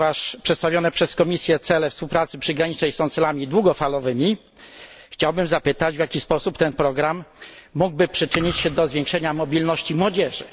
Ponieważ przedstawione przez Komisję cele współpracy przygranicznej są celami długofalowymi, chciałbym zapytać, w jaki sposób ten program mógłby przyczynić się do zwiększenia mobilności młodzieży.